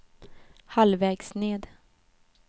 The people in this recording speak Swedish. halvvägs ned